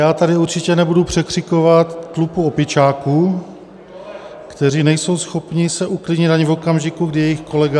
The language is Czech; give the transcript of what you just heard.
Já tady určitě nebudu překřikovat tlupu opičáků, kteří nejsou schopni se uklidnit ani v okamžiku, kdy jejich kolega...